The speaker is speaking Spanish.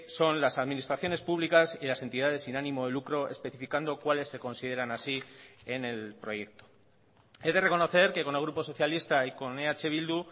son las administraciones públicas y las entidades sin ánimo de lucro especificando cuales se consideran así en el proyecto he de reconocer que con el grupo socialista y con eh bildu